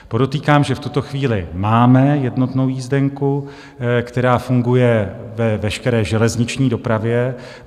Podotýkám, že v tuto chvíli máme jednotnou jízdenku, která funguje ve veškeré železniční dopravě.